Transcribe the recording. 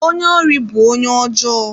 Onye ori bụ onye ọjọọ.